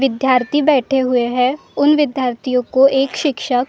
विद्यार्थी बैठे हुए हैं उन विद्यार्थियों को एक शिक्षक।